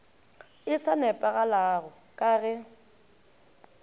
e sa nepagalago ka ge